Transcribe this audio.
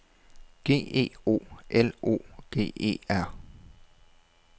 G E O L O G E R